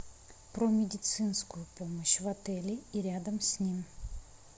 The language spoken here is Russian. про медицинскую помощь в отеле и рядом с ним